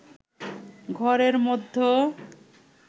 ঘরের মধ্য